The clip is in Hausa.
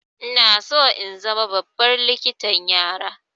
Ina so in zama babbar likitan yara.